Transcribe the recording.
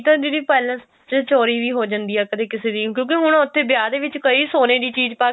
ਕਈ ਤਾਂ ਦੀਦੀ palace ਚ ਚੋਰੀ ਵੀ ਹੋ ਜਾਂਦੀ ਆ ਕਦੇ ਕਿਸੇ ਦੀ ਕਿਉਂਕਿ ਹੁਣ ਉੱਥੇ ਵਿਆਹ ਦੇ ਵਿੱਚ ਕਈ ਸੋਨੇ ਦੀ ਚੀਜ਼ ਪਾਕੇ